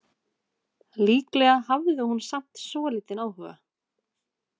Líklega hafði hún samt svolítinn áhuga.